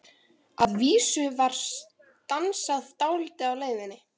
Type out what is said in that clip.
Að vísu var stansað dálítið á leiðinni.